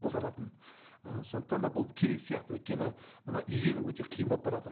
қолданатын ы сондықтан да бұл керек сияқты өйткені мына игеру өте қиын болып баратыр